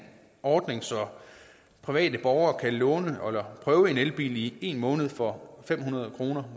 ordning så private borgere kan låne og prøve en elbil i en måned for fem hundrede kroner